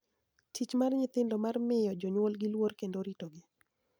Tich mar nyithindo mar miyo jonyuolgi luor kendo ritogi�